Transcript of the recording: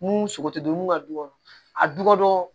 Mun sogo tɛ don mun ka du kɔnɔ a du kɔnɔ